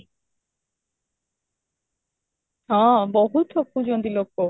ହଁ, ବହୁତ ଠକୁଛନ୍ତି ଲୋକ